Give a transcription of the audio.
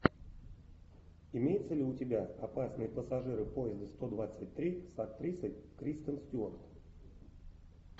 имеется ли у тебя опасные пассажиры поезда сто двадцать три с актрисой кристен стюарт